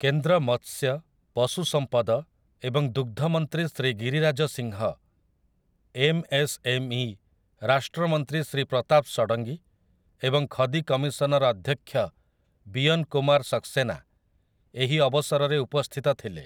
କେନ୍ଦ୍ର ମତ୍ସ୍ୟ, ପଶୁ ସମ୍ପଦ ଏବଂ ଦୁଗ୍ଧ ମନ୍ତ୍ରୀ ଶ୍ରୀ ଗିରିରାଜ ସିଂହ, ଏମ୍ଏସ୍ଏମ୍ଇ ରାଷ୍ଟ୍ରମନ୍ତ୍ରୀ ଶ୍ରୀ ପ୍ରତାପ ଷଡଙ୍ଗୀ ଏବଂ ଖଦି କମିଶନର ଅଧ୍ୟକ୍ଷ ବିୟନ କୁମାର ସକ୍ସସେନା ଏହି ଅବସରରେ ଉପସ୍ଥିତ ଥିଲେ ।